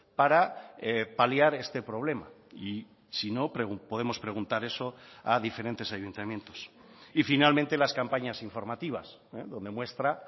para paliar este problema y si no podemos preguntar eso a diferentes ayuntamientos y finalmente las campañas informativas donde muestra